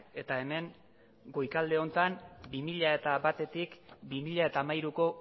eta hemen goikalde honetan bi mila batetik bi mila hamairuko